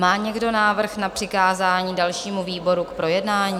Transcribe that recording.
Má někdo návrh na přikázání dalšímu výboru k projednání?